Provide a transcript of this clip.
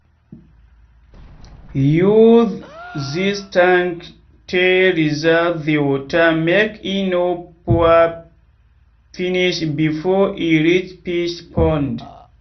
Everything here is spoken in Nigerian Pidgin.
use this tank tey reserve the water make e no pour finish before e reach fish pond.